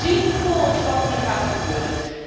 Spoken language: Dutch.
Wij zien voor ons wat hier gaat gebeuren.